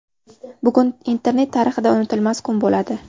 Bugun internet tarixida unutilmas kun bo‘ladi.